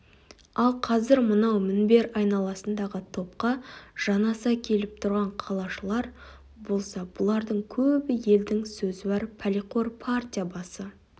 ал қазір мынау мінбер айналасындағы топқа жанаса келіп тұрған қалашылар болса бұлардың көбі елдің сөзуар пәлеқор партия басы